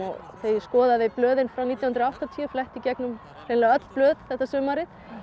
þegar ég skoðaði blöðin frá nítján hundruð og áttatíu fletti í gegnum hreinlega öll blöð þetta sumarið